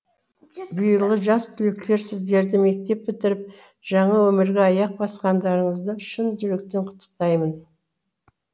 биылғы жас түлектер сіздерді мектеп бітіріп жаңа өмірге аяқ басқандарынызды шын жүректен құттықтаймын